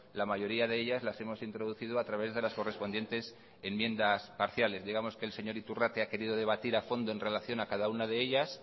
la mayoría de ellas las hemos introducido a través de las correspondientes enmiendas parciales digamos que el señor iturrate ha querido debatir a fondo en relación a cada una de ellas